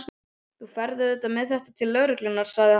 Þú ferð auðvitað með þetta til lögreglunnar, sagði hann.